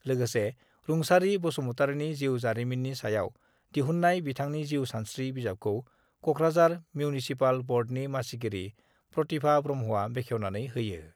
लोगोसे रुंसारि बसुमतारिनि जिउ जारिमिननि सायाव दिहुन्नाय बिथानि जिउ सानस्रि बिजाबखौ कक्राझार मिउनिसिपाल बर्डनि मासिगिरि प्रतिभा ब्रह्मआ बेखेवनानै होयो।